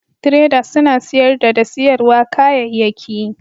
traders suna siyarda da siyarwa kayayyaki